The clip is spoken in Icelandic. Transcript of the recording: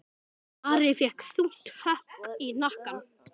Ari fékk þungt högg í hnakkann.